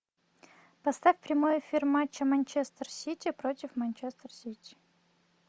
поставь прямой эфир матча манчестер сити против манчестер сити